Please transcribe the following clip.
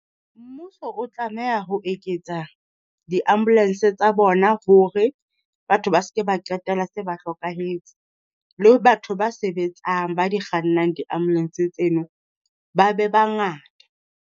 Mmuso o tlameha ho eketsa di-ambulance tsa bona, hore batho ba se ke ba qetella se ba hlokahetse. Le batho ba sebetsang ba di kgannang di-ambulance tseno ba be bangata.